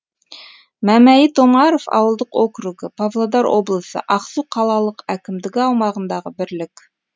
мәмәйіт омаров ауылдық округі павлодар облысы ақсу қалалық әкімдігі аумағындағы бірлік